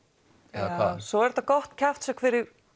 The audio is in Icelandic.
eða hvað svo er þetta gott kjaftshögg fyrir